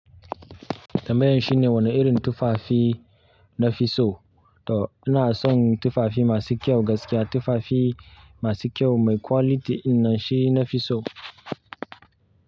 Tambayan shine wane irin tufafi na fi so. To ina son tufafi masu kyau gaskiya. Tufafi masu kyau mai quality in nan shi nafi so.